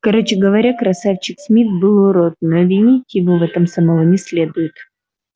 короче говоря красавчик смит был урод но винить его в этом самого не следует